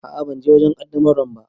A'a ban je wajen qaddamarwar ba.